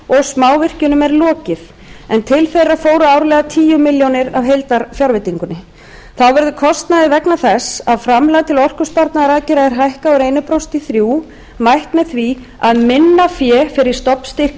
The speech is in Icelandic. og smávirkjunum er lokið en til þeirra fóru árlega tíu milljónir króna af heildarfjárveitingunni þá verður kostnaði vegna þess að framlag til orkusparnaðaraðgerða er hækkað úr einu prósenti í þrjú prósent mætt með því að minna fé fer í stofnstyrki til nýrra